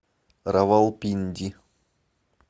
равалпинди